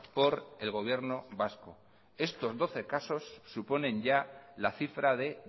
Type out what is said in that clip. por el gobierno vasco estos doce casos suponen ya la cifra de